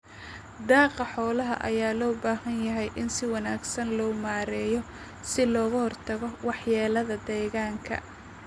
Daaqa xoolaha ayaa loo baahan yahay in si wanaagsan loo maareeyo si looga hortago waxyeelada deegaanka.